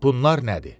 Bunlar nədir?